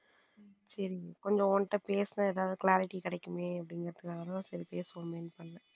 சரி கொஞ்சம் உன்கிட்ட பேசினா ஒரு clarity கிடைக்குமே அப்படிங்கறதனால அதான் சரி பேசுவோமே என்ன பண்ண.